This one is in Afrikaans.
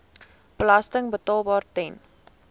belasting betaalbaar ten